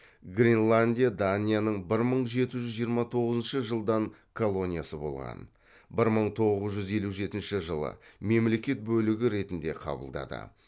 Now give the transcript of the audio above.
гренландия данияның бір мың жеті жүз жиырма тоғызыншы жылдан колониясы болған бір мың тоғыз жүз елу үшінші жылы мемлекет бөлігі ретінде қабылдады